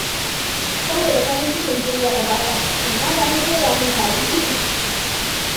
Saboda farin cikin cin jarrabawata, innata ta soya min kaji uku.